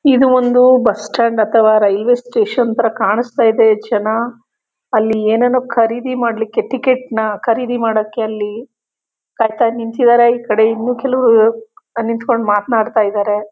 ಇದೊಂದು bus stand ಅಥವಾ railway station ತರ ಕಾಣ್ಸ್ತ ಇದೆ. ಜನ ಅಲ್ಲಿ ಏನೇನೊ ಖರೀದಿ ಮಾಡ್ಲಿಕ್ಕೆ ಟಿಕೆಟ್ ನ ಖರೀದಿ ಮಾಡಕ್ಕೆ ಅಲ್ಲಿ ಕಾಯ್ತಾ ನಿಂತಿದಾರೆ. ಈಕಡೆ ಇನ್ನು ಕೆಲವ್ರು ನಿತ್ಕೊಂಡು ಮಾತ್ನಾಡ್ತಾಯಿದಾರೆ.